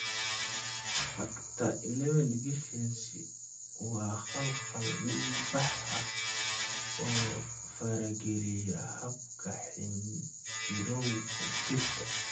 Factor XI deficiency waa khalkhal dhiigbax ah oo farageliya habka xinjirowga jirka.